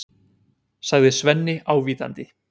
sagði Svenni ávítandi.